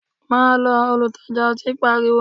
Ma lọ! Olutaja ọtí pariwo